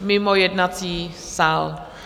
mimo jednací sál.